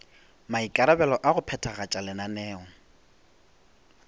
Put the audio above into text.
maikarabelo a go phethagatša lenaneo